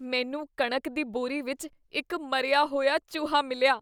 ਮੈਨੂੰ ਕਣਕ ਦੀ ਬੋਰੀ ਵਿੱਚ ਇੱਕ ਮਰਿਆ ਹੋਇਆ ਚੂਹਾ ਮਿਲਿਆ।